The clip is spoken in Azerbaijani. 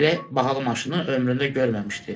Belə bahalı maşını ömründə görməmişdi.